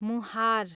मुहार